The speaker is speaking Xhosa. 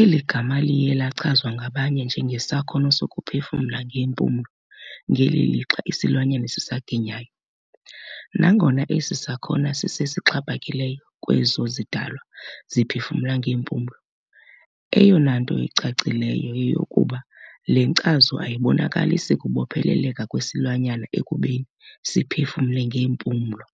eli gama liye lachazwa ngabanye njengesakhono sokuphefumla ngeempumlo ngeli lixa isilwanyana sisaginyayo. Nangona esi sakhono sisesixhaphakileyo kwezo zidalwa ziphefumla ngeempumlo, eyonanto icacileyo yeyokokuba le nkcazo ayibonakalisi kubopheleleka kwesilwanyana ekubeni siphefumle ngeempulo.